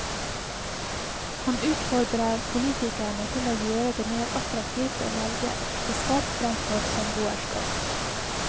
Han utfordrer politikerne til å gjøre det mer attraktivt å velge ekteskap fremfor samboerskap.